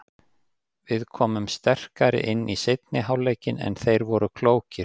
Við komum sterkari inn í seinni hálfleikinn en þeir voru klókir.